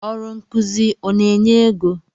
Ọrụ nkụzi ọ na-enye égo?